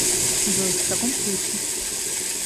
джой в таком случае